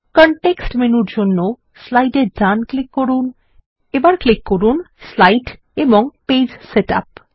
context মেনুর জন্য slide এ ডান ক্লিক করুন এবার ক্লিক করুন স্লাইড এবং পেজ সেটআপ